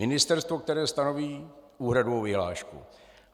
Ministerstvo, které stanoví úhradovou vyhlášku.